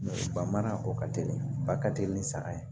ba mana a kɔ ka teli ba ka teli ni saga ye